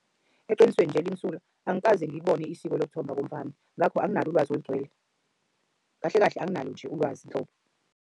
Eqinisweni nje elimsulwa angikaze ngiyibone isiko lokuthumba komfana. Ngakho anginalo ulwazi olugcwele. Kahle kahle anginalo nje ulwazi nhlobo.